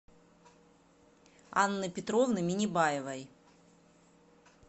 анны петровны минибаевой